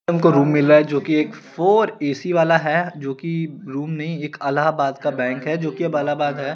हमको रूम मिला है जोकि एक फोर ऐ_सी वाला है जोकि रूम नही एक अलाहबाद का बैंक है जोकि एक अलाहाबाद है।